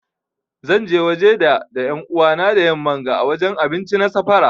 Zan je waje da da yan'uwa na da yamman ga ã wajen abinci na safara.